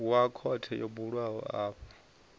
wa khothe yo bulwaho afho